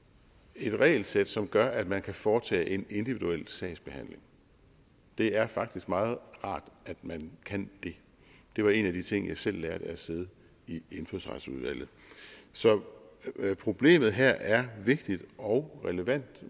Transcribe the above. et regelsæt som gør at man kan foretage en individuel sagsbehandling det er faktisk meget rart at man kan det det var en af de ting jeg selv lærte af at sidde i indfødsretsudvalget så problemet her er vigtigt og relevant